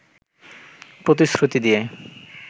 প্রতিশ্রুতি দিয়ে